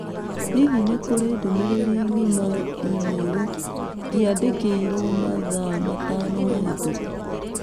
Hihi nĩ kũrĩ ndũmĩrĩri ng'ima e mail ndĩandĩkĩirũo mathaa matano mahĩtũku?